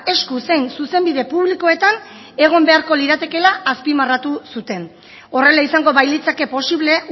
esku zein zuzenbide publikoetan egon beharko liratekela azpimarratu zuten horrela izango bailitzake posible